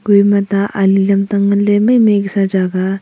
ku a ema ta ali lamtang ngan le mei mei ke sa jagah aa.